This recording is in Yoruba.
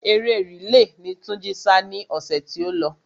Eré rìle ni Túnjí sá ni ọ̀sẹ̀ tí ó lọ.